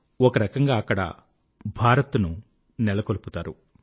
ఒకరకంగా అక్కడ భారత్ ను నెలకొల్పుతారు